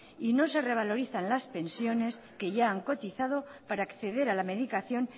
y no se revaloriza las pensiones que ya han cotizado para acceder a la medicación